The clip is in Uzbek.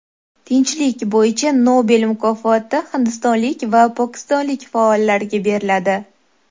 Tinchlik bo‘yicha Nobel mukofoti hindistonlik va pokistonlik faollarga beriladi.